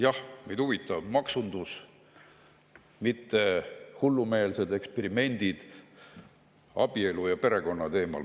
Jah, meid huvitab maksundus, mitte hullumeelsed eksperimendid abielu ja perekonna teemal.